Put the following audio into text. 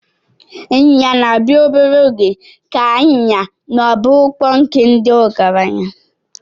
Ịnyịnya na-abịa obere oge ka anyịnya ma bụrụkwa nke ndị ọgaranya.